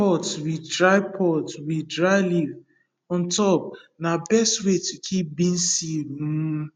clay pot with dry pot with dry leaf on top na best way to keep beans seed um